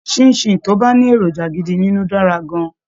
Ṣín-in-ṣìn tó bá ní èròjà gidi nínú dára gan-an